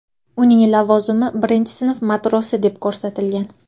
Uning lavozimi birinchi sinf matrosi deb ko‘rsatilgan .